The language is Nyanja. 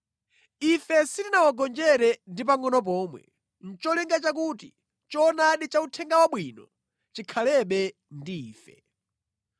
Ife sitinawagonjere ndi pangʼono pomwe, nʼcholinga chakuti choonadi cha Uthenga Wabwino chikhalebe ndi ife.